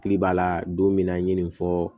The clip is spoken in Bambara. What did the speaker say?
Tigi b'a la don min na n ye nin fɔ